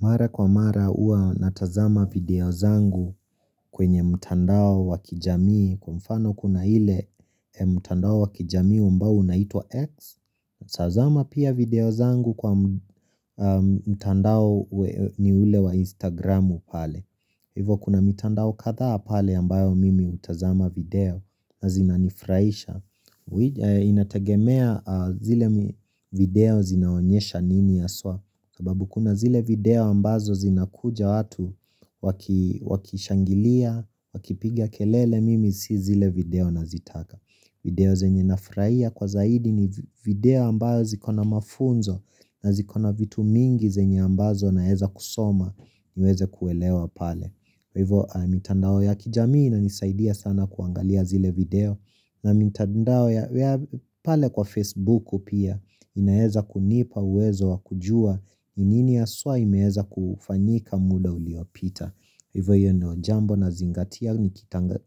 Mara kwa mara huwa natazama video zangu kwenye mtandao wa kijamii kwa mfano kuna ile mtandao wa kijamii ambao unaitwa X tazama pia video zangu kwa mtandao ni ule wa Instagramu pale Hivo kuna mtandao kadhaa pale ambayo mimi hutazama video na zinanifurahisha Inategemea zile video zinaonyesha nini haswa sababu kuna zile video ambazo zinakuja watu wakishangilia, wakipiga kelele mimi si zile video nazitaka video zenye nafurahia kwa zaidi ni video ambazo ziko na mafunzo na ziko na vitu mingi zenye ambazo naeza kusoma niweze kuelewa pale Hivo mitandao ya kijamii inanisaidia sana kuangalia zile video na mitandao ya pale kwa Facebook pia inaeza kunipa uwezo wakujua ni nini haswa imeeza kufanyika muda uliopita Hivo ndio jambo nazingatia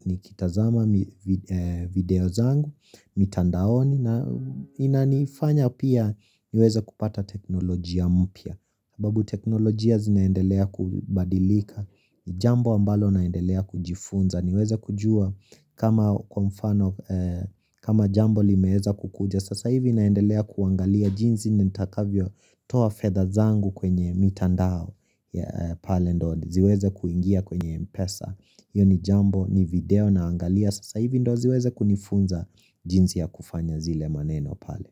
nikitazama video zangu mitandaoni na inanifanya pia niweze kupata teknolojia mpya sababu teknolojia zinaendelea kubadilika Jambo ambalo naendelea kujifunza niweze kujua kama kwa mfano kama jambo limeeza kukuja Sasa hivi naendelea kuangalia jinsi nitakavyotoa fedha zangu kwenye mitandao pale ndio ziweze kuingia kwenye mpesa hio ni jambo ni video naangalia Sasa hivi ndio ziweze kunifunza jinsi ya kufanya zile maneno pale.